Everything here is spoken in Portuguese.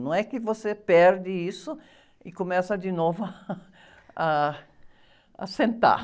Não é que você perde isso e começa de novo a, a sentar.